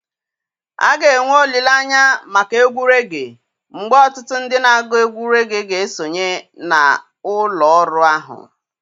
A ga-enwe olile anya maka egwu regee, mgbe ọtụtụ ndị na-agụ egwú regee ga-esonye na ụlọ ọrụ ahụ.